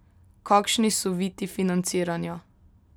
Kakšni so viti financiranja?